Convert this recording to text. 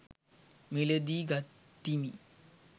මිලදී ගතිමි